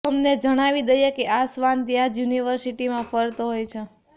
તમને જણાવી દઈએ કે આ શ્વાન ત્યાં જ યૂનિવર્સિટીમાં ફરતો હોય છે